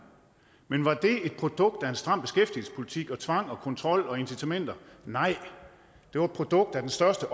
men var det et produkt af en stram beskæftigelsespolitik med tvang kontrol og incitamenter nej det var et produkt af den største